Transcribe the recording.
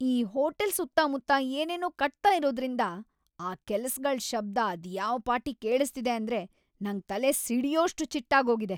ಈ ಹೋಟೆಲ್‌ ಸುತ್ತಮುತ್ತ ಏನೇನೋ ಕಟ್ತಾ ಇರೋದ್ರಿಂದ ಆ ಕೆಲ್ಸಗಳ್‌ ಶಬ್ದ ಅದ್ಯಾವ್‌ ಪಾಟಿ ಕೇಳಿಸ್ತಿದೆ ಅಂದ್ರೆ ನಂಗ್‌ ತಲೆ ಸಿಡ್ಯೋಷ್ಟ್‌ ಚಿಟ್ಟಾಗೋಗಿದೆ.